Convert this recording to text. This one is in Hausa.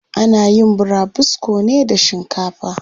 Ana yin burabusko ne da shinkafa.